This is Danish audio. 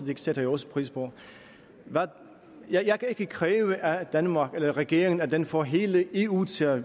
det sætter jeg også pris på jeg kan ikke kræve af danmark eller regeringen at den får hele eu til at